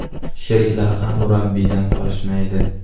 Sheriklari ham murabbiydan qolishmaydi.